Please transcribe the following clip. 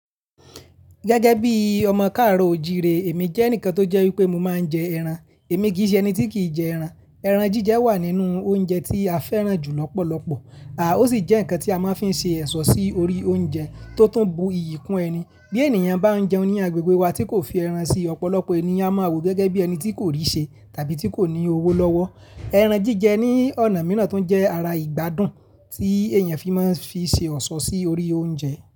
Gẹ́gẹ́ bí ọmọ káàro òjìrè, èmi jẹ́ ẹnìkan tó jẹ́ wípé mo máa ń jẹ ẹran. Èmi kì í ṣe ẹni tí kì í jẹ ẹran. Ẹran jíjẹ wà nínú oúnjẹ tí a fẹ́ràn jù lọ́pọ̀lọpọ̀, ó sì jẹ́ ǹkan tí a máa ń fi ṣe ẹ̀ṣọ́ sí orí oúnjẹ tó tún bu iyì kún ẹni. Bí ènìyàn bá ń jẹun ní agbègbè wa tí kò fi ẹran sí, ọ̀pọ̀lọpọ̀ ẹniyan a máa wò gẹ́gẹ́ bí ẹni tí kò rí ṣe tàbí tí kò ní owó lọ́wọ́. Ẹran jíjẹ ní ọ̀nà mìíràn tó ń jẹ́ ara ìgbádùn tí èèyàn fi máa ń fi ṣe ọ̀ṣọ́ sí orí oúnjẹ.